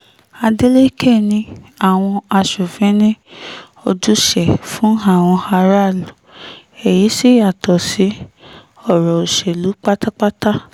adélèkẹ̀ ni àwọn aṣòfin ní ojúṣe fún àwọn aráàlú èyí sì yàtọ̀ sí ọ̀rọ̀ òṣèlú pátápátá